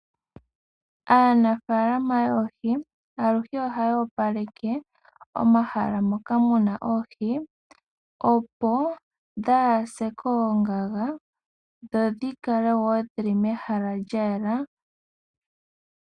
Aanafaalama yoohi aluhe ohaya opaleke omahala moka muna oohi, opo dhaase koongaga dho dhikale woo dhili mehala mwayela.